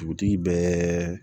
Dugutigi bɛɛ